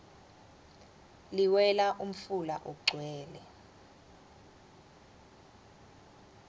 liwela umfula ugcwele